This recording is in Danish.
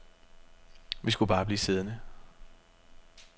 Vi skulle bare blive siddende.